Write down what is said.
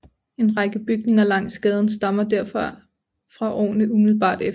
En række bygninger langs gaden stammer derfor fra årene umiddelbart efter